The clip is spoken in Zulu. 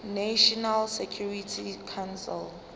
national security council